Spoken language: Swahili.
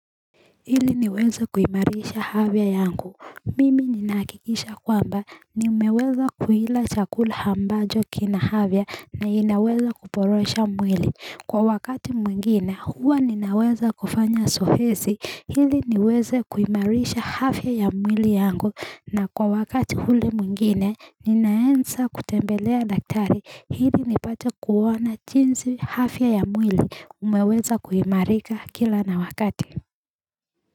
Ili niweze kuimarisha afya yangu mimi ninahakikisha kwamba nimeweza kuila chakula ambacho kina afya na inaweza kuporosha mwili kwa wakati mwingine huwa ninaweza kufanya zoezi ili niweze kuimarisha afya ya mwili yangu na kwa wakati ule mwingine ninaeza kutembelea dakitari ili nipate kuona jinsi afya ya mwili umeweza kuimarika kila na wakati.